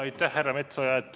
Aitäh, härra Metsoja!